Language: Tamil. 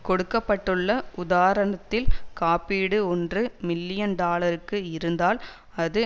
கொடுக்க பட்டுள்ள உதாரணத்தில் காப்பீடு ஒன்று மில்லியன் டாலருக்கு இருந்தால் அது